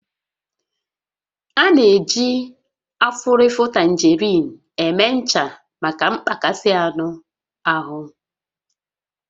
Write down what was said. A na-eji afụrịfụ tangerine eme ncha maka mgbakasị anụ ahụ